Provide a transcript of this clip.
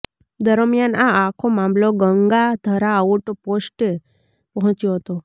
દરમિયાન આ આખો મામલો ગંગાધરા આઉટ પોસ્ટે પહોંચ્યો હતો